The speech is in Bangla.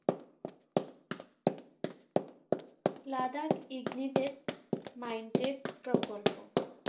লাদাখ ignetic minds প্রকল্প